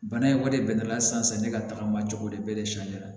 Bana in kɔni de bɛnn'ala san ne ka tagama cogo de bɛ de su la